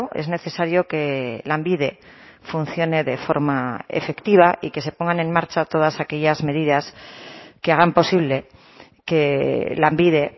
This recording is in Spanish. es necesario que lanbide funcione de forma efectiva y que se pongan en marcha todas aquellas medidas que hagan posible que lanbide